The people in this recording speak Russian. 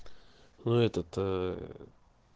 ну этот ээ